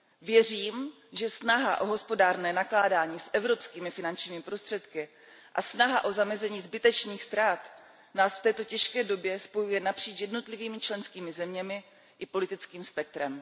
Věřím, že snaha o hospodárné nakládání s evropskými finančními prostředky a snaha o zamezení zbytečných ztrát nás v této těžké době spojuje napříč jednotlivými členskými zeměmi i politickým spektrem.